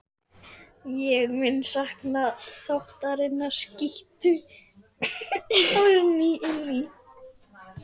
Ég mun sakna þáttanna, skýtur Árný inn í.